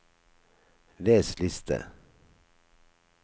les liste